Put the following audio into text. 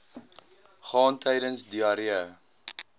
gaan tydens diarree